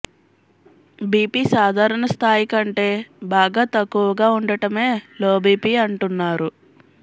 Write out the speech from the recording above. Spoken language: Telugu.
బీపీ సాధారణ స్థాయి కంటే బాగా తక్కువగా ఉండటమే లోబీపీ అంటున్నారు